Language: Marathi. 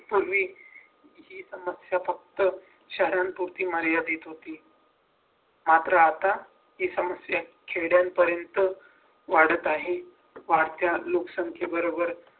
पूर्वी ही समस्या फक्त शहरांपुरती मर्यादित होती. मात्र आत्ता ही समस्या खेड्यांपर्यंत वाढत आहे वाढत्या लोकसंख्येबरोबर